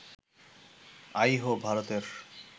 আইহো, ভারতের